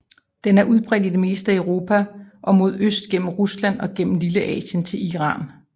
Den er udbredt i det meste af Europa og mod øst gennem Rusland og gennem Lilleasien til Iran